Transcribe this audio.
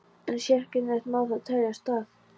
En sérkennilegt má það teljast að